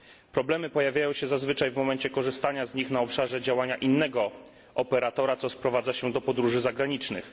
Problemy pojawiają się zazwyczaj w momencie korzystania z nich na obszarze działania innego operatora, co sprowadza się do podróży zagranicznych.